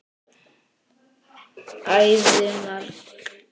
Æði margt.